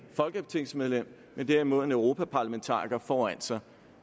folketingsmedlem men derimod en europaparlamentariker foran sig